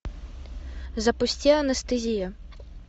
запусти анестезия